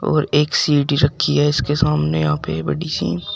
और एक सीढ़ी रखी है इसके सामने यहां पे बड़ी सी।